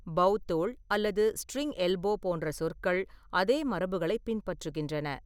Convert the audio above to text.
பௌ தோள் அல்லது string elbow போன்ற சொற்கள் அதே மரபுகளை பின்பற்றுகின்றன.